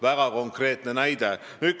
Väga konkreetne näide!